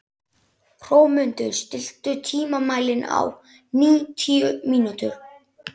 Hrómundur, stilltu tímamælinn á níutíu mínútur.